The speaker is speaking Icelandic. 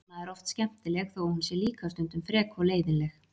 Anna er oft skemmtileg þó að hún sé líka stundum frek og leiðinleg.